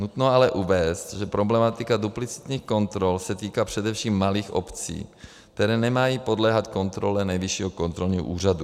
Nutno ale uvést, že problematika duplicitních kontrol se týká především malých obcí, které nemají podléhat kontrole Nejvyššího kontrolního úřadu.